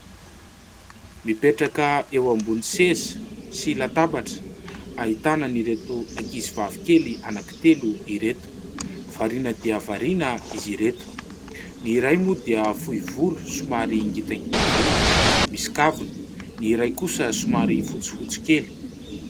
Mipetraka eo ambony seza sy latabatra, ahitana an'ireto ankizivavikely anankitelo ireto. Variana dia variana izy ireto. Ny iray moa dia fohy volo somary ngitangita volo misy kavina, ny iray kosa somary fotsifotsy kely.